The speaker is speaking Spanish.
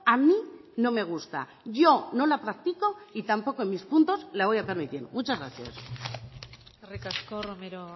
a mí no me gusta yo no la practico y tampoco en mis puntos la voy a permitir muchas gracias eskerrik asko romero